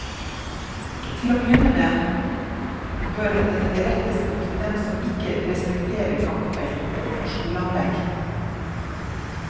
Til å begynne med bør den rettes mot dem som ikke respekterer gangfelt utenfor skoleanlegg.